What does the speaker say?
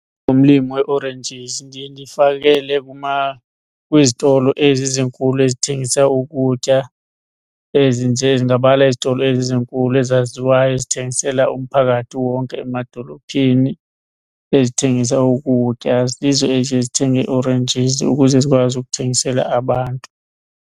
Njengomlimi we-oranges ndiye ndifakele kwizitolo ezi zinkulu ezithengisa ukutya , ndingabala izitolo ezinkulu ezaziwayo ezithengisela umphakathi wonke amadolophini ezithengisa ukutya, zizo eziye zithenge ii-oranges ukuze zikwazi ukuthengisela abantu.